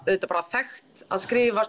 auðvitað þekkt að skrifa